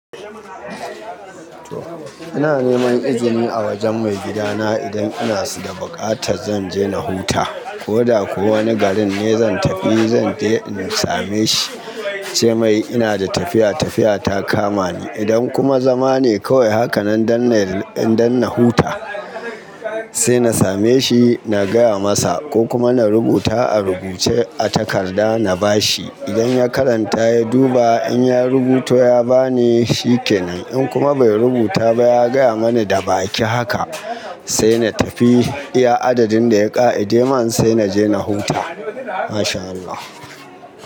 Ina neman izini a wajen maigidana idan ina da buƙatar zan je na huta, ko da ko wane garin ne zan tafi zan je in same shi, in ce mai ina da tafiya, tafiya ta kama ni. Idan kuma zama ne kawai haka nan don in don na huta, sai na same shi na gaya masa ko kuma na rubuta a rubuce a takarda na bashi. Idan ya karanta ya duba in ya rubuta ya bani shikenan, in kuma bai rubuta ba ya gaya mani da baki haka sai na tafi iya adadin da ya ƙa'. Ide man sai naje na huta. Mashallah.